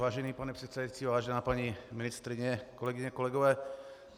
Vážený pane předsedající, vážená paní ministryně, kolegyně, kolegové.